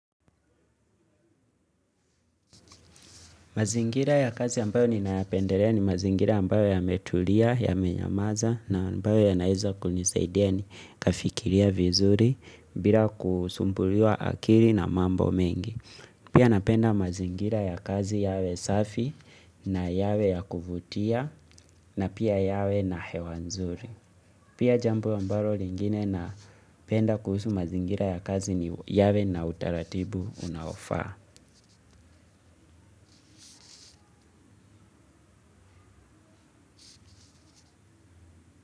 Mazingira ya kazi ambayo ninayapendelea ni mazingira ambayo yametulia yamenyamaza na ambayo yanaeza kunisaidia nikafikiria vizuri bila kusumbuliwa akili na mambo mengi. Pia napenda mazingira ya kazi yawe safi na yawe ya kuvutia na pia yawe na hewa nzuri. Pia jambo ambalo lingine napenda kuhusu mazingira ya kazi ni yawe na utaratibu unaofaa.